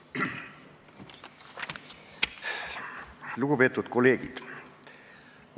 Lugupeetud kolleegid!